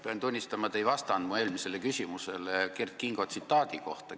Pean tunnistama, et te ei vastanud mu eelmisele küsimusele Kert Kingo tsitaadi kohta.